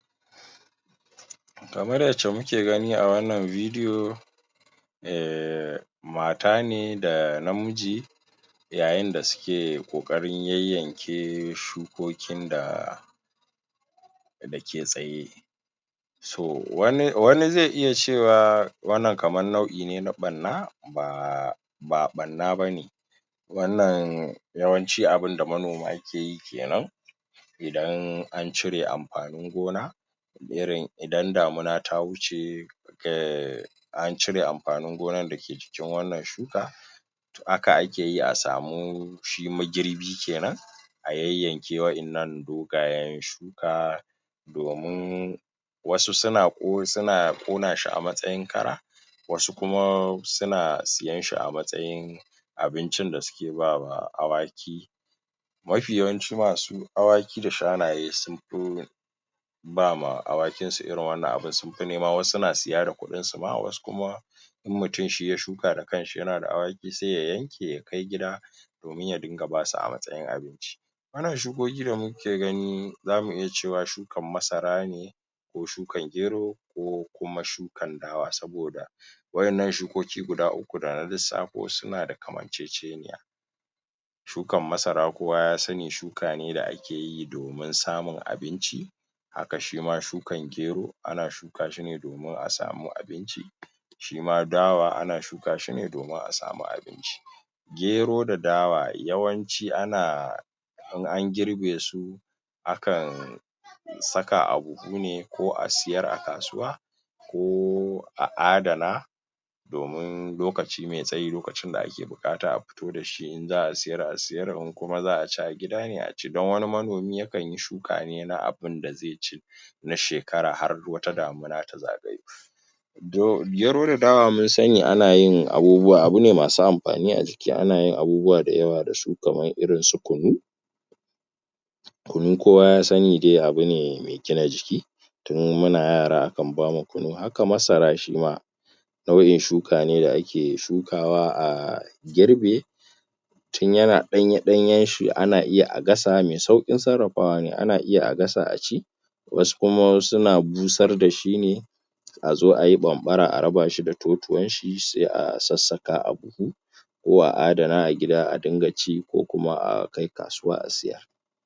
Kamar yacce muke gani a wannan vidiyo um mata ne da namiji yayin da suke ƙoƙarin yayyanke shukokin da dake tsaye so wani, wani zai iya cewa wannan kaman nau'i ne na ɓanna baaa ba ɓanna bane wannan yawanci abunda manoma ke yi kenan idan an cire amfanin gona irin idan damuna ta wuce um an cire amfanin gonan dake jikin wannan shuka haka akeyi a samu shi ma girbi kenan a yayyanke wa'innan dogayen shu.. domin wasu suna wasu na ƙona shi a matsayin kara wasu kuma suna siyen shi a matsayin abincin da suke bawa awaki mafi yawanci masu awaki da shanaye sun fi bama awakin su irin wannan abun su nema wasu na siya da kuɗinsu ma wasu kuma inmutum shi ya shuka da kanshi yana da awaki sai ya yanke ya kai gida domin ya dunga basu a matsayin abinci wannan shukoki da muke gani zamu iya cewa shu.. kan masara ne ko shukan gero ko kuma shukan dawa saboda wa'innan shukoki guda uku dana lissafo su suna da kamanceceniya shukan masara kowa ya sanni shuka ne da ake keyi domin samun abinci haka shima shukan gero ana shuka shi ne domin a samu abinci shima dawa ana shuka shi ne domin a samu abinci gero da dawa yawanci ana in an girbe su akan saka abu sune ko a siyar a kasuwa ko a adana domin lokaci mai tsayi lokacin da ake buƙata a futo dashi in za'a siyar a siyar in kuma za'a ci a gida ne a ci don wani manomi ya kanyi shuka ne na abunda zai ci na shekara har wata damuna ta zagayo gero da dawa mun sanni ana yin abubuwa abune masu amfani a jiki ke ana yin abubuwa da yawa dasu kamar irin su kunu kunu kowa ya sanni dai abune mai gina jiki tun muna yara akan bamu kunu, haka masara shima nau'in shuka ne da ake shukawa a girbe tin yana ɗanye-ɗanyen shi ana iya a gasa mai sauƙin sarra.. fawa ne, ana iya a gasa a ci wasu kuma wasu suna busar dashi ne azo ayi ɓanɓara a raba shi da totuwan shi sai a sassaka a buhu ko a adana a gida a dunga ci ko kuma a kai kasuwa a siyar